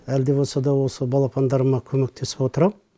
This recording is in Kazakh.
әлі де болса да осы балапандарыма көмектесіп отырамын